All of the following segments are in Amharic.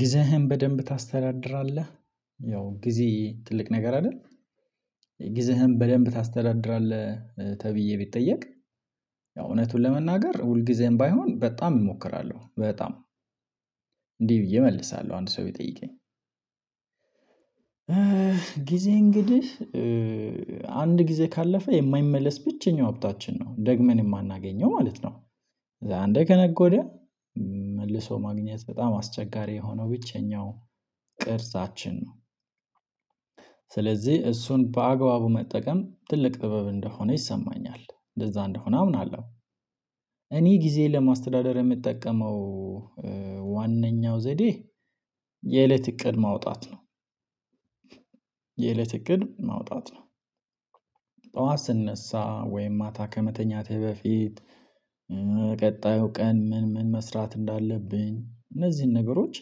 ጊዜህን በደንብ ታስተዳድራለህ? ያው ጊዜ ትልቅ ነገር አይደል? ጊዜህን በደንብ ታስተዳድራለህ ተብዬ ብጠየቅ ያው እውነቱን ለመናገር ሁል ጊዜም ባይሆን በጣም እሞክራለሁ። በጣም እንህ ብዬ እመልሳለሁ አንድ ሰው ቢጠይቀኝ። ጊዜ እንግዲህ አንድ ጊዜ ካለፈ የማይመለስ ብቸኛው ሀብታችን ነው ደግመን የማናገኘው ማለት ነው። አንደ ከነጎደ መልሶ ማግኘት በጣም አስቸጋሪ የሆነው ብቸኛው ቅርጻችን ነው። ስለዚህ እሱን በአግባቡ መጠቀም ትልቅ ጥበብ እንደሆነ ይሰማኛል እንደዛ እንደሆነ አምናለሁ። እኔ ጊዜ ለማስተዳደር የምጠቀመው ዋናኛው ዘዴ የእለት እቅድ ማውጣት ነው። የእለት እቅድ ማውጣት ነው። ጠዋት ስነሳ ወይም ማታ ከመተኛቴ በፊት ቀጣዩ ቀን ምን ምን መስራት እንዳለብኝ እነዚህን ነገሮች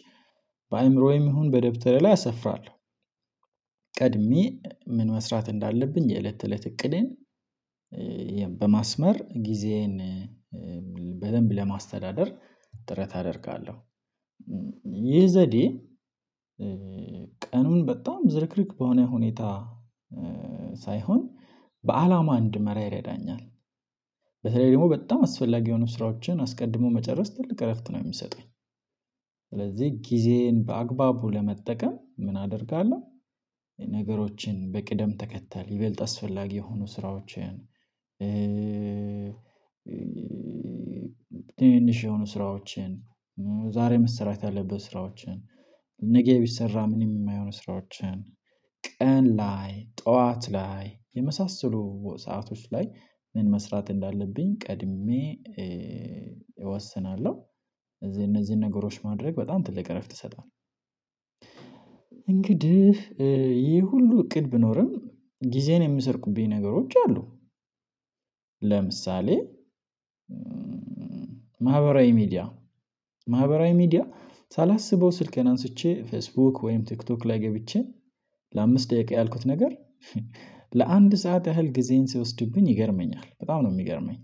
በአእምሮዬም ይሁን በደብተሬ ላይ አሰፍራለሁ። ቀድሜ ምን መስራት እንዳለብኝ የእለት ተእለት እቅዴን በማስመር ጊዜዬን በደንብ ለማስተዳደር ጥረት አደርጋለሁ። ይህ ዘዴ ቀኑን በጣም ዝርክርክ በሆነ ሁኔታ ሳይሆን በአላማ እንድመራ ይረዳኛል። በተለይ ደግሞ በጣም አስፈላጊ የሆኑ ስራዎችን አስቀድሞ መጨረስ ትልቅ እረፍት ነው የሚሰጠኝ። ስለዚህ ጊዜን በአግባቡ ለመጠቀም ምን አደርጋለሁ? ነገሮችን በቅደም ተከተል ይበልጥ አስፈላጊ የሆኑ ስራዎችን ትንሽ የሆኑ ስራዎችን ዛሬ መሰራት ያለበት ስራዎችን ነገ ቢሰራ ምንም የማይሆን ስራዎችን ቀን ላይ ጠዋት ላይ የመሳሰሉ ሰአቶች ላይ ምን መስራት እንዳለብኝ ቀድሜ እወስናለሁ እዚህ እነዚህን ነገሮች ማድረግ በጣም ትልቅ እረፍት ይሰጣል። እንግዲህ ይሄ ሁሉ እቅድ ቢኖርም ጊዜን የምሰርቁብኝ ነገሮች አሉ። ለምሳሌ ማህበራዊ ሚዲያ ማህበራዊ ሚዲያ ሳላስበው ስልኬን አንስቼ ፌስቡክ ወይም ቲክቶክ ላይ ገብቼ። ለአምስት ደቂቃ ያልኩት ነገር ለአንድ ሰዓት ያህል ጊዜን ሲወስድብኝ ይገርመኛል በጣም ነው የሚገርመኝ።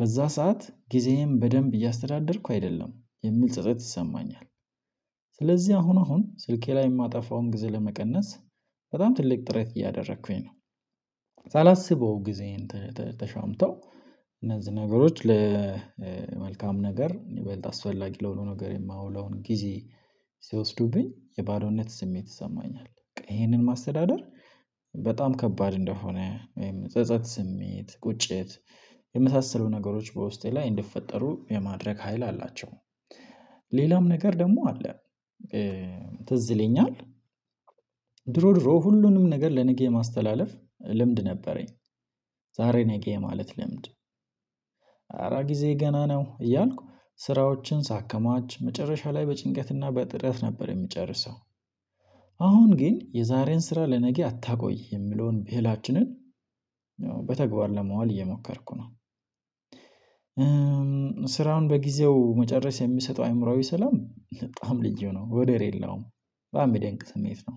በዛ ሰዓት ጊዜዬን በደንብ እያስተዳደርኩ አይደለም የሚል ጸጸት ይሰማኛል። ስለዚህ አሁን አሁን ስልኬ ላይ የማጠፋውን ጊዜ ለመቀነስ በጣም ትልቅ ጥረት እያደረኩኝ ነው። ሳላስበው ጊዜን ተሻምተው እነዚህ ነገሮች ለመልካም ነገር የሚበልጥ አስፈላጊ ለሆኑ ነገር የማውለውን ጊዜ ሲወስዱብኝ የባዶነት ስሜት ይሰማኛል። ይሄንን ማስተዳደር በጣም ከባድ እንደሆነ ወይም ጸጸት ስሜት ቁጭት የመሳሰሉ ነገሮች በውስጤ ላይ እንደፈጠሩ የማድረግ ሀይል አላቸው። ሌላም ነገር ደግሞ አለ። ትዝ ይለኛል ድሮ ድሮ ሁሉንም ነገር ለነገ የማስተላለፍ ልምድ ነበረኝ። ዛሬ ነገ የማለት ልምድ አረ ጊዜዬ ገና ነው እያልኩ ስራዎችን ሳከማች መጨረሻ ላይ በጭንቀትና በጥረት ነበር የምጨርሰው። አሁን ግን የዛሬን ስራ ለነገ አታቆይ የምለውን ብሂላችንን በተግባር ለመዋል እየሞከርኩ ነው። ስራውን በጊዜው መጨረስ የሚሰጠው አእምሮአዊ ሰላም በጣም ልዩ ነው ወደሬላውም በአሜዳ እንቅ ስሜት ነው።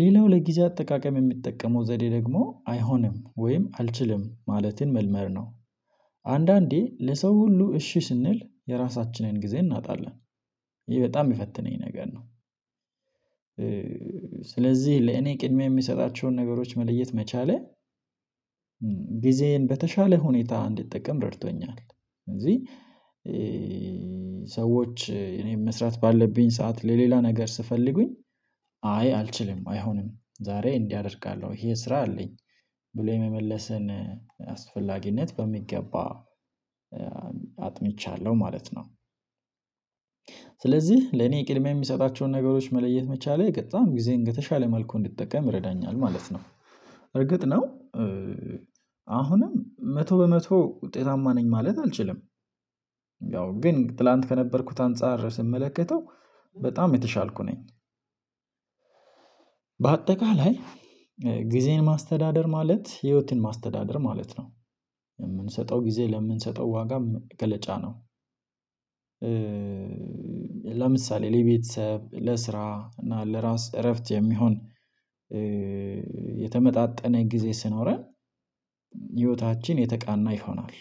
ሌላው ለጊዜ አጠቃቀም የሚጠቀመው ዘዴ ደግሞ አይሆንም ወይም አልችልም ማለትን መልመድ ነው። አንዳንዴ ለሰው ሁሉ እሺ ስንል የራሳችንን ጊዜ እናጣለን። ይሄ በጣም የፈተነኝ ነገር ነው። ስለዚህ ለእኔ ቅድሚያ የምሰጣቸውን ነገሮች መለየት መቻሌ ጊዜን በተሻለ ሁኔታ እንዲጠቀም ረድቶኛል። ስለዚህ ሰዎች እኔ መስራት ባለብኝ ሰዓት ለሌላ ነገር ስፈልጉኝ አይ አልችልም አይሆንም ዛሬ እንዲህ አደርጋለሁ ይሄ ስራ አለኝ ብሎ የመመለስን አስፈላጊነት በሚገባ አጥንቻለሁ ማለት ነው። ስለዚህ ለኔ ቅድሚያ የሚሰጣቸውን ነገሮች መለየት መቻሌ በጣም ጊዜ እንደተሻለ መልኩ እንድትጠቀም ይረዳኛል ማለት ነው። እርግጥ ነው። አሁንም መቶ በመቶ ውጤታማ ነኝ ማለት አልችልም። ያው ግን ትላንት ከነበርኩት አንፃር ስመለከተው በጣም የተሻልኩ ነኝ። በአጠቃላይ ጊዜን ማስተዳደር ማለት ህይወትን ማስተዳደር ማለት ነው። የምንሰጠው ጊዜ ለምንሰጠው ዋጋም መገለጫ ነው። ለምሳሌ ለቤተሰብ ለስራ እና ለራስ እረፍት የሚሆን የተመጣጠነ ጊዜ ሲኖረን ህይወታችን የተቀና ይሆናል።